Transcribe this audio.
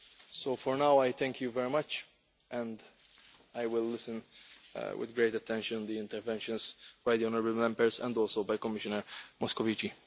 So for now I thank you very much and I will listen with great attention to the interventions by the honourable Members and by Commissioner Moscovici.